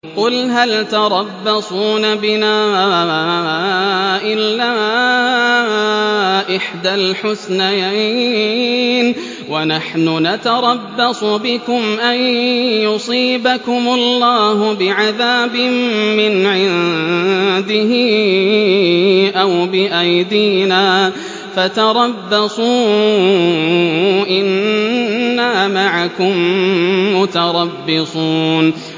قُلْ هَلْ تَرَبَّصُونَ بِنَا إِلَّا إِحْدَى الْحُسْنَيَيْنِ ۖ وَنَحْنُ نَتَرَبَّصُ بِكُمْ أَن يُصِيبَكُمُ اللَّهُ بِعَذَابٍ مِّنْ عِندِهِ أَوْ بِأَيْدِينَا ۖ فَتَرَبَّصُوا إِنَّا مَعَكُم مُّتَرَبِّصُونَ